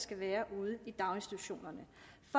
skal være ude i daginstitutionerne